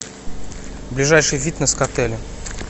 ближайший фитнес к отелю